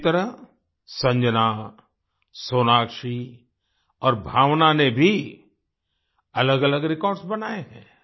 इसी तरह संजना सोनाक्षी और भावना ने भी अलगअलग रिकार्ड्स बनाये हैं